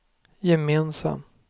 gemensam